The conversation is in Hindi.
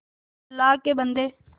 अल्लाह के बन्दे